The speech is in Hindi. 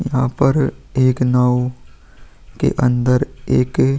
यहाँ पर एक नाव के अंदर एक --